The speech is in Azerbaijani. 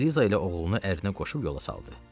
Eliza ilə oğlunu ərinə qoşub yola saldı.